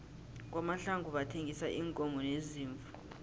kwamahlangu bathengisa iinkomo neziimvu